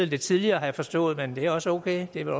lidt tidligere har jeg forstået det er også okay det er